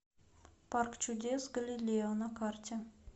парк чудес галилео на карте